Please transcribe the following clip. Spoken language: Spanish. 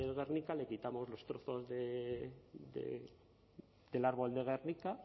gernika le quitamos los trozos del árbol de gernika